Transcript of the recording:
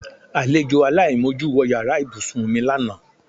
Alejò aláìmojú wo̩ yàrá ìbúsùn mi lánàá.